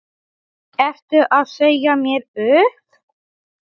Ertu að segja mér upp?